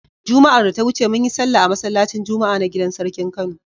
Juma'ar da ta wuce mun yi sallah a masallacin Juma'a na gidar sarkin Kano.